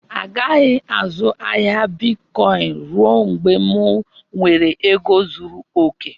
A gaghị azụ ahịa bịtkọin rue mgbe m nwèrè égo zụrụ okè